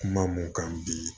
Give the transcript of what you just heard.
Kuma mun kan bi